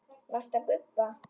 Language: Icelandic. Varstu að gubba?